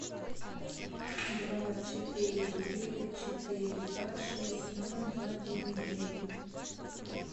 два четыре девять четыре два шесть ноль два девять девять